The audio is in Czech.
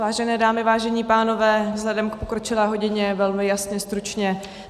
Vážené dámy, vážení pánové, vzhledem k pokročilé hodině velmi jasně, stručně.